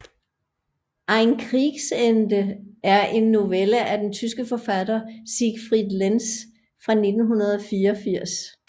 Ein Kriegsende er en novelle af den tyske forfatter Siegfried Lenz fra 1984